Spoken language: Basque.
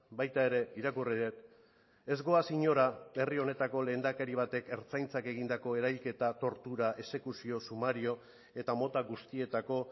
baita ere irakurri dut ez goaz inora herri honetako lehendakari batek ertzaintzak egindako erailketa tortura exekuzio sumario eta mota guztietako